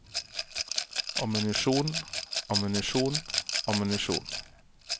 ammunisjon ammunisjon ammunisjon